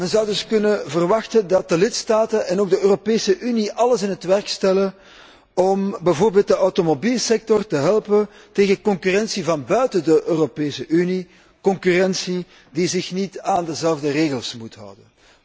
Men zou dus kunnen verwachten dat de lidstaten en ook de Europese Unie alles in het werk stellen om bijvoorbeeld de automobielsector te helpen tegen concurrentie van buiten de Europese Unie, concurrentie die zich niet aan dezelfde regels hoeft te houden.